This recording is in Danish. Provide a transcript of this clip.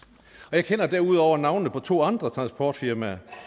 og jeg kender derudover navnene på to andre transportfirmaer